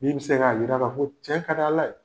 Min bɛ se k'a jira ka fɔ cɛ ka d' ala ye